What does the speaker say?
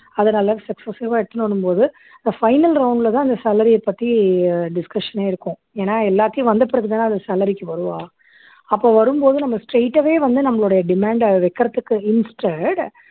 அதனால successive ஆ எடுத்துட்டு வரும்போது இந்த final round லதான் இந்த salary யைப் பத்தி discussion னே இருக்கும் ஏன்னா எல்லாத்தையும் வந்த பிறகுதானே அது salary க்கு வருவா அப்ப வரும்போது நம்ம straight ஆவே வந்து நம்மளுடைய demand அ வைக்கிறதுக்கு instead